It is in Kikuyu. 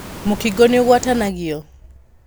Mũkingo nĩ ũgwatanagio?